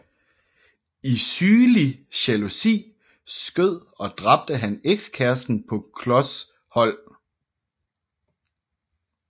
I sygelig jalousi skød og dræbte han ekskæresten på klos hold